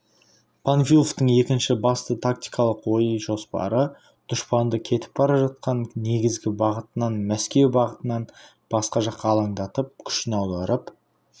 панфиловтың екінші басты тактикалық ой-жоспары дұшпанды кетіп бара жатқан негізгі бағытынан мәскеу бағытынан басқа жаққа алаңдатып күшін аударып